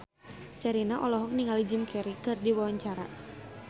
Sherina olohok ningali Jim Carey keur diwawancara